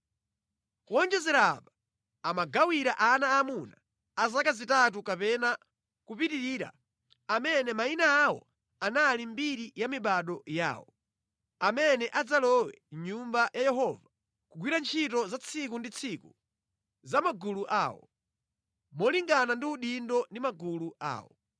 Kuwonjezera apa, amagawira ana aamuna a zaka zitatu kapena kupitirira amene mayina awo anali mʼmbiri ya mibado yawo, amene adzalowe mʼNyumba ya Yehova kugwira ntchito za tsiku ndi tsiku za magulu awo, molingana ndi udindo ndi magulu awo.